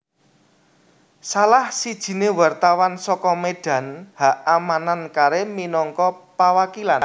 Salah sijiné Wartawan saka Medan H A Manan Karim minagka pawakilan